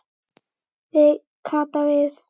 Kata við.